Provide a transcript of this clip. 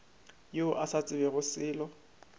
yo a sa tsebego selo